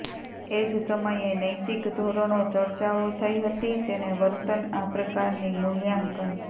એ જ સમયે નૈતિક ધોરણો ચર્ચાઓ થઈ હતી તેને વર્તન આ પ્રકારની મૂલ્યાંકન